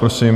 Prosím.